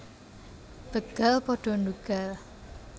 Begal pada ndhugal